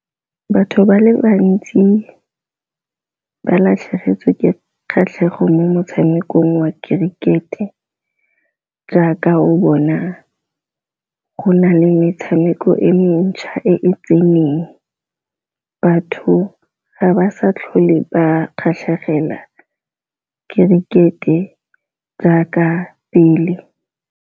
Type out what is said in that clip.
Batho ba le bantsi ba latlhegetswe ke kgatlhego mo motshamekong wa kerikete, jaaka o bona go na le tshameko e e mentšha e tseneng batho ga ba sa tlhole ba kgatlhegela kerikete jaaka pele.